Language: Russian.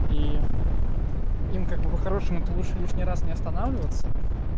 и им как бы хорошим это лучше лишний раз не останавливаться